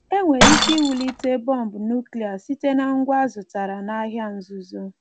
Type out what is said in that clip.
E nwere ike iwulite bọmbụ nụ́klịa site na ngwa a zụtara n’ahịa nzuzo.